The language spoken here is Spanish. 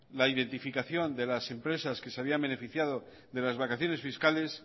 la identificación de las empresas que se habían beneficiado de las vacaciones fiscales